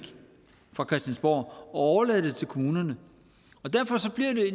på christiansborg og overlade det til kommunerne og derfor bliver